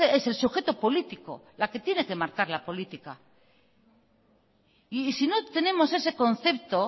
es el sujeto político la que tiene que marcar la política si no tenemos ese concepto